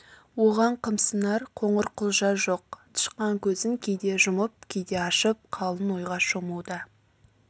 оған қымсынар қоңырқұлжа жоқ тышқан көзін кейде жұмып кейде ашып қалың ойға шомуда